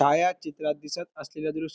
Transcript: छाया चित्रात दिसत असलेल दृश्य--